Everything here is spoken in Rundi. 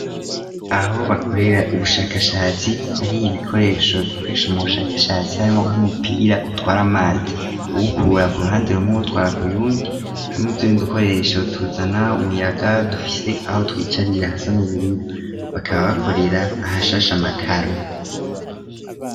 Aho bakorera ubushakashatsi hari ibikoresho bikoresha mu bushakashatsi harimwo nk'umupira utwara mazi wukura ku ruhande rume gutwara ku yundi hamwe utundi udukoresho tuzana umuyaga dufise aho twicarira hasa nubururu bakaba bakorera ahashashe amakaro.